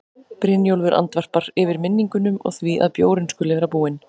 Brynjólfur andvarpar, yfir minningunum og því að bjórinn skuli vera búinn.